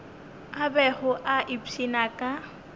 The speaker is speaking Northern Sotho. a bego a ipshina ka